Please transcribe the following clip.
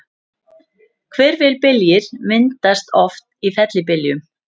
Hvirfilbyljir myndast oft í fellibyljum.